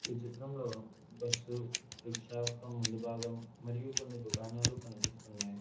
ఈ చిత్రంలో bus rickshaw యొక్క ముందు భాగం మరియు కొన్ని దుకాణాలు కనిపిస్తున్నాయి.